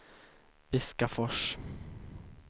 Viskafors